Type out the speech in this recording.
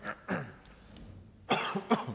tak